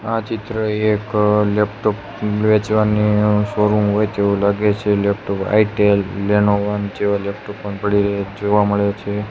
આ ચિત્ર એક લેપટોપ વેચવાની શોરુમ હોય તેવુ લાગે છે લેપટોપ આઇટેલ લેનોવા જેવા લેપટોપ પણ પડી રહ્યા જોવા મડે છે.